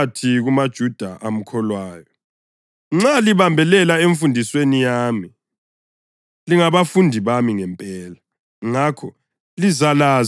UJesu wathi kumaJuda amkholwayo, “Nxa libambelela emfundisweni yami lingabafundi bami ngempela.